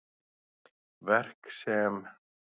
Verk sem